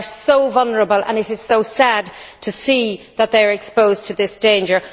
They are so vulnerable, and it is so sad to see that they are exposed to this danger.